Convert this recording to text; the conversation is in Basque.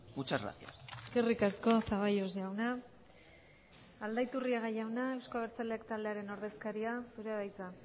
muchas gracias eskerrik asko zaballos jauna aldaiturriaga jauna euzko abertzaleak taldearen ordezkaria zurea da hitza